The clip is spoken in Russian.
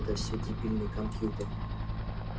это всё дебильный компьютер